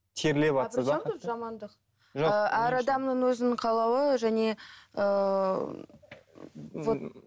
әр адамның өзінің қалауы және ыыы вот